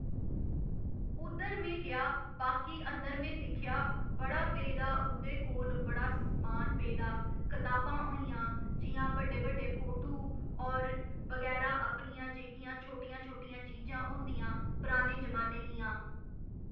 उद्धर में गेआ बाकी अंदर में दिक्खेआ बड़ा पेदा उं'दे कोल बड़ा समान पेदा कताबां होइआं जि'यां बड़े बड़े फोटू और बगैरा अपनियां जेह्कियां छोटियां छोटियां चीजां होंदियां पराने जमाने दियां